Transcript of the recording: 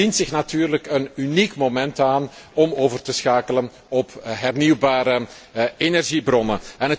Dan dient zich natuurlijk een uniek moment aan om over te schakelen op hernieuwbare energiebronnen.